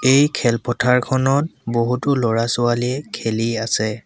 এই খেলপথাৰখনত বহুতো ল'ৰা ছোৱালীয়ে খেলি আছে।